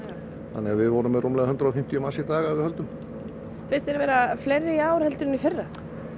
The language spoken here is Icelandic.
þannig við vorum með rúmlega hundrað og fimmtíu manns í dag að við höldum finnst þér vera fleiri í ár heldur en í fyrra